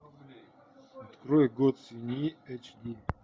открой год свиньи эйч ди